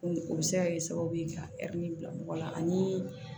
O bɛ se ka kɛ sababu ye ka bila mɔgɔ la ani